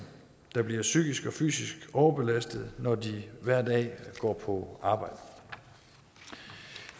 der bliver psykisk og fysisk overbelastede når de hver dag går på arbejde